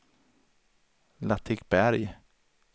Latikberg